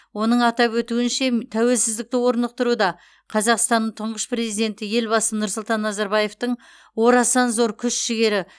оның атап өтуінше тәуеліздікті орнықтыруда қазақстанның тұңғыш президенті елбасы нұрсұлтан назарбаевтың орасан зор күш жігері